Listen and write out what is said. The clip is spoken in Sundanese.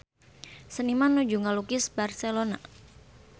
Seniman nuju ngalukis Barcelona